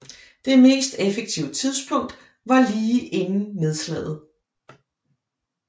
Det mest effektive tidspunkt var lige inden nedslaget